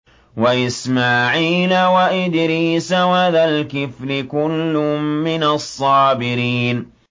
وَإِسْمَاعِيلَ وَإِدْرِيسَ وَذَا الْكِفْلِ ۖ كُلٌّ مِّنَ الصَّابِرِينَ